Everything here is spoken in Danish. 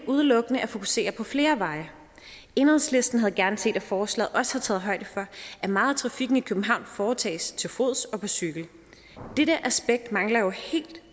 udelukkende at fokusere på flere veje enhedslisten havde gerne set at forslaget også havde taget højde for at meget af trafikken i københavn foretages til fods og på cykel dette aspekt mangler jo helt